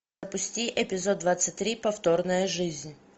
запусти эпизод двадцать три повторная жизнь